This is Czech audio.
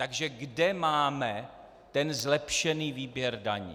Takže kde máme ten zlepšený výběr daní?